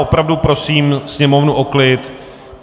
Opravdu prosím sněmovnu o klid.